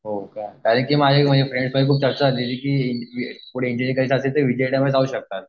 हो का कारण की फ्रेंड्स खूप चर्चा चालली होती की पुढे इंजिनिअरिंग करायची असेल तर जाऊ शकता.